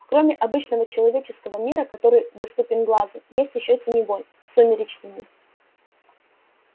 кроме обычного человеческого мира который доступен глазу есть ещё теневой сумеречный мир